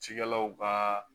Cikɛlaw ka